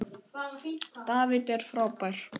David er frábær.